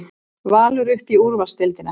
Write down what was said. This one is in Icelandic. Valur upp í úrvalsdeildina